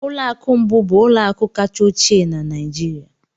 Ụlọ akụ Mbu bụ ụlọ akụ kacha ochie na Nigeria